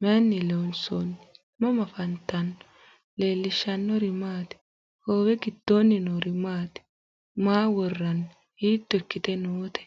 Maayinni loonisoonni? mama affanttanno? leelishanori maati? hoowe gidoonni noori maati? maa woraanni? hiitto ikkite noote?